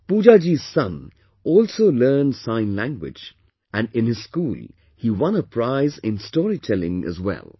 Pooja ji's son also learned Sign Language and in his school he won a prize in storytelling as well